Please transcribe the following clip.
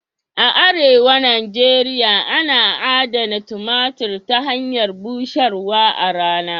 A arewa Nijeria ana adana tumatir ta hanyar busharwa a rana.